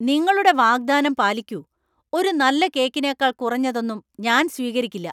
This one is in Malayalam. നിങ്ങളുടെ വാഗ്ദാനം പാലിക്കൂ . ഒരു നല്ല കേക്കിനേക്കാൾ കുറഞ്ഞതൊന്നും ഞാൻ സ്വീകരിക്കില്ല.